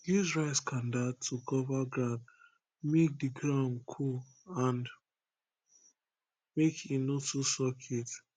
use rice kanda to cover ground make di ground cool and make e no too suck heat